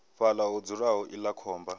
fhaḽa ho dzulaho iḽla khomba